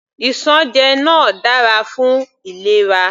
Isanje náà dára fún ìlera.